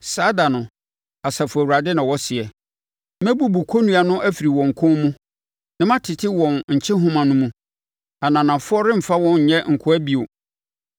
“ ‘Saa ɛda no,’ Asafo Awurade na ɔseɛ, ‘Mɛbubu kɔnnua no afiri wɔn kɔn mu, na matete wɔn nkyehoma no mu; ananafoɔ remfa wɔn nyɛ nkoa bio.